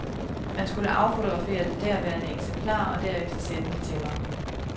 Man skulle affotografere det derværende eksemplar og derefter sende det til mig.